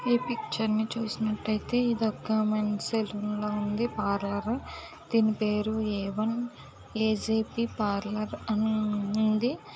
Section పేరు. ఏమిది ఈ పిక్చర్ కామెంట్ సెక్షన్ పిల్లర్ల హ టిన్ బెరు.వమ్ అజిబి పార్లర్ హెబ్--